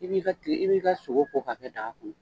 I b'i ka tilen i b'i ka sogo ko ka kɛ daga kɔnɔ.